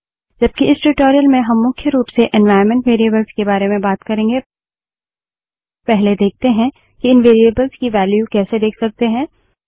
जबकि इस ट्यूटोरियल में हम मुख्य रूप से एन्वाइरन्मेंट वेरिएबल्स के बारे में बात करेंगे पहले देखते हैं कि इन वेरिएबल्स की वेल्यू कैसे देख सकते हैं